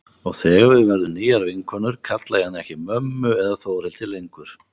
Og þegar við verðum nýjar vinkonur kalla ég hana ekki mömmu eða Þórhildi lengur.